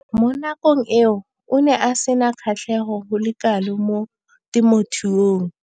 Mo nakong eo o ne a sena kgatlhego go le kalo mo temothuong.